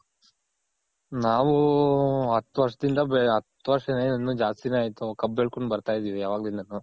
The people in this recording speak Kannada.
ನಾವು ಹತ್ತ್ ವರ್ಷ ದಿಂದ ಬೆ ಹತ್ತ್ ವರ್ಷ ದಿಂದ ಏನ್ ಇನ್ನ ಜಾಸ್ತಿನೆ ಆಯ್ತು ಕಬ್ ಬೆಳ್ಕೊಂಡ್ ಬರ್ತಾ ಇದಿವಿ ಅವಾಗ್ಲಿನ್ದಾನು.